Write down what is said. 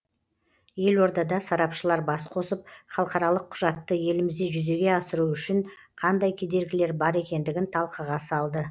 елордада сарапшылар бас қосып халықаралық құжатты елімізде жүзеге асыру үшін қандай кедергілер бар екендігін талқыға салды